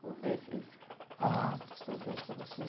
Como foi esse esse. Ah. Esse processo para você?